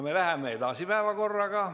Läheme päevakorraga edasi.